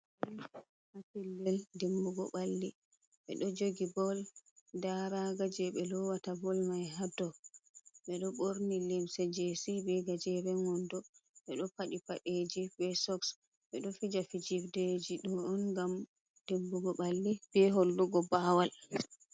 Ɗo pellel dimbugo balli. Be do jogi boll. daa raga je be lowata boll mai haadou. Be do borni limse jessi be gajeren wondo. Be do padi padeji be sokks. Bedo fija fijirdeji ɗo on ngam ɗimbugo balli be hollugo bawal.